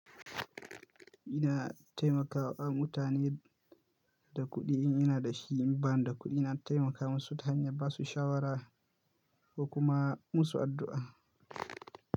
Ina taimakawa mutane da kuɗi in ina da shi, in ba da kuɗi na taimaka musu ta hanyar ba su shawara ko kuma musu addu'a.